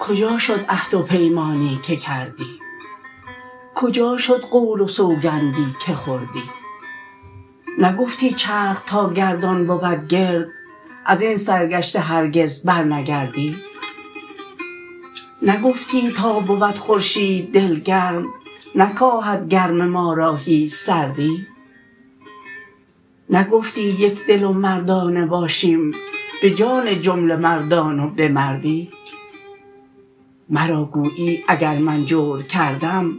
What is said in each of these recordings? کجا شد عهد و پیمانی که کردی کجا شد قول و سوگندی که خوردی نگفتی چرخ تا گردان بود گرد از این سرگشته هرگز برنگردی نگفتی تا بود خورشید دلگرم نکاهد گرم ما را هیچ سردی نگفتی یک دل و مردانه باشیم به جان جمله مردان و به مردی مرا گویی اگر من جور کردم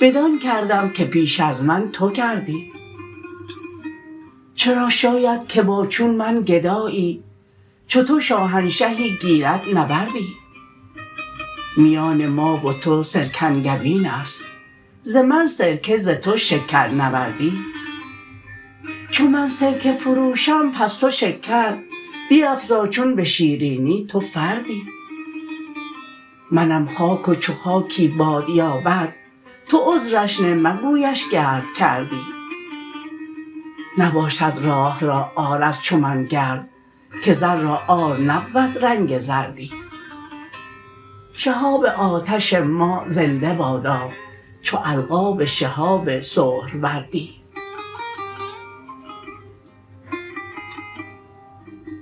بدان کردم که پیش از من تو کردی چرا شاید که با چون من گدایی چو تو شاهنشهی گیرد نبردی میان ما و تو سرکنگبین است ز من سرکه ز تو شکرنوردی چو من سرکه فروشم پس تو شکر بیفزا چون به شیرینی تو فردی منم خاک و چو خاکی باد یابد تو عذرش نه مگویش گرد کردی نباشد راه را عار از چو من گرد که زر را عار نبود رنگ زردی شهاب آتش ما زنده بادا چو القاب شهاب سهروردی